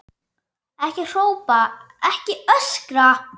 Ekki hrópa, ekki öskra!